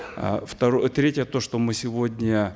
э третье то что мы сегодня